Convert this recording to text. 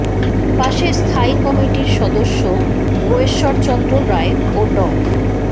পাশে স্থায়ী কমিটির সদস্য গয়েশ্বর চন্দ্র রায় ও ড